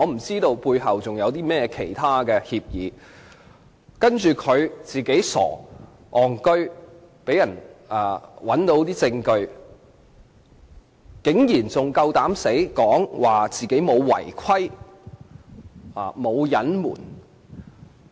在事件中，他自己傻、"戇居"，被人找到私通梁振英的證據，卻還膽敢說自己沒有違規或隱瞞。